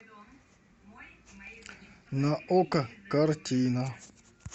на окко картина